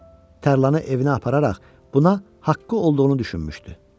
Tərlanı evinə apararaq buna haqqı olduğunu düşünmüşdü.